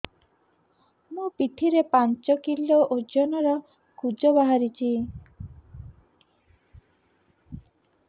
ମୋ ପିଠି ରେ ପାଞ୍ଚ କିଲୋ ଓଜନ ର କୁଜ ବାହାରିଛି